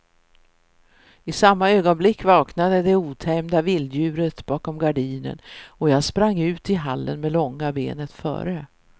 I samma ögonblick vaknade det otämjda vilddjuret bakom gardinen och jag sprang ut i hallen med långa benet före.